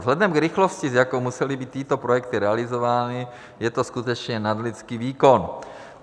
Vzhledem k rychlosti, s jakou musely být tyto projekty realizovány, je to skutečně nadlidský výkon.